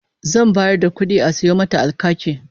Zan bayar da kudi a sayo mata alkaki